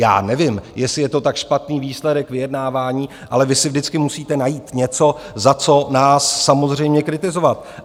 Já nevím, jestli je to tak špatný výsledek vyjednávání, ale vy si vždycky musíte najít něco, za co nás samozřejmě kritizovat.